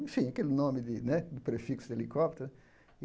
Enfim, aquele nome de né de prefixo de helicóptero.